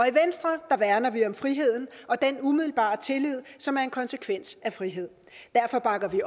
i venstre værner vi om friheden og den umiddelbare tillid som er en konsekvens af frihed derfor bakker vi